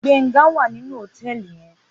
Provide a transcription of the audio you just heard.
Gbenga wá ninú hótèlí yèn